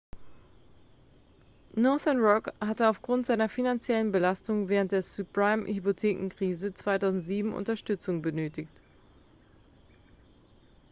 northern rock hatte aufgrund seiner finanziellen belastung während der subprime-hypothekenkrise 2007 unterstützung benötigt